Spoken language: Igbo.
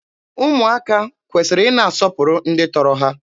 Ụmụaka kwesịrị ị na-asọpụrụ ndị tọrọ ha.